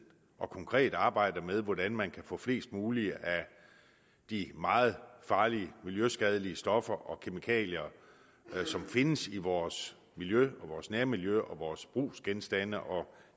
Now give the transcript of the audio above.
og konkret arbejder med hvordan man kan få flest mulige af de meget farlige og miljøskadelige stoffer og kemikalier som findes i vores miljø vores nære miljø og vores brugsgenstande og